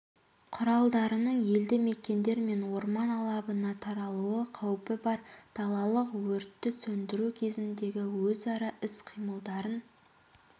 құралдарының елді мекендер мен орман алабына таралу қаупі бар далалық өртті сөндіру кезіндегі өзара іс-қимылдарын